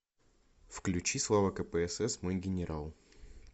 включи слава кпсс мой генерал